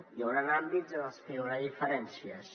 hi hauran àmbits en els que hi haurà diferències